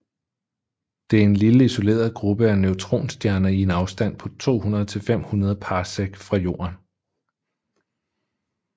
Det er en lille isoleret gruppe af neutronstjerner i en afstand på 200 til 500 parsec fra Jorden